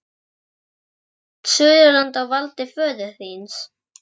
Er þá allt Suðurland á valdi föður þíns?